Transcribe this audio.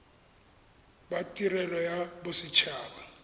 ba tirelo ya boset haba